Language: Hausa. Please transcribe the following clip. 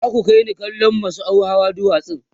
za ku kaini kallon masau Hawa duwatsan